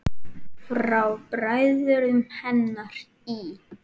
Frá bræðrum hennar í